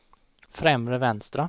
främre vänstra